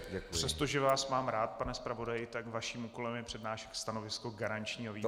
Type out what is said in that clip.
Přestože vás mám rád, pane zpravodaji, tak vaším úkolem je přednášet stanovisko garančního výboru.